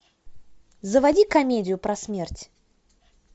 заводи комедию про смерть